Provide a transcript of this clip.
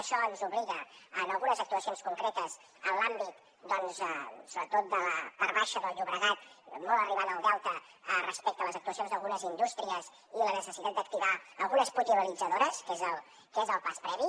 això ens obliga a algunes actuacions concretes en l’àmbit sobretot de la part baixa del llobregat molt arribant al delta respecte a les actuacions d’algunes indústries i la necessitat d’activar algunes potabilitzadores que és el pas previ